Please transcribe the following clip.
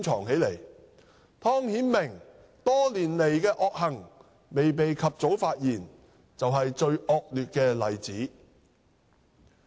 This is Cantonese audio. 湯顯明多年來的惡行未被及早發現便是最惡劣的例子。